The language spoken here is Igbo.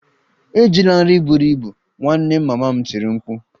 Ejila nri buru ibu! Ị nwanne mama m tiri m mkpu